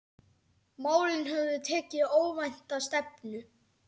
Málin höfðu tekið óvænta stefnu.